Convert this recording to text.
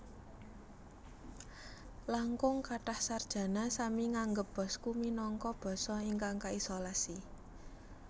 Langkung kathah sarjana sami nganggep Basque minangka basa ingkang kaisolasi